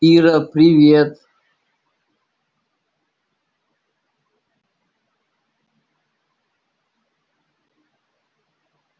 ира привет